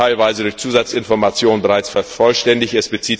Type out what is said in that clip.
teilweise durch Zusatzinformation bereits vervollständigt sind.